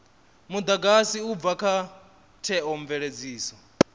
mudagasi u bva kha theomveledziso